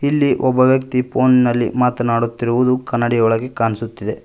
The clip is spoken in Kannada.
ಇಲ್ಲಿ ಒಬ್ಬ ವ್ಯಕ್ತಿ ಫೋನ್ ನಲ್ಲಿ ಮಾತನಾಡುತ್ತಿರುವುದು ಕನ್ನಡಿ ವೊಳಗೆ ಕಣ್ಸುತ್ತಿದೆ.